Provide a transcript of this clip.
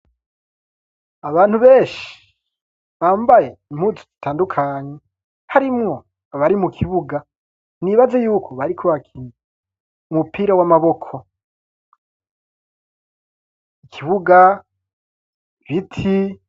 Abantu benshi bambaye impunzi zitandukanye .Harimwo abari mu kibuga nibaze yuko bari ku bakiya umupira w'amaboko ikibuga biti.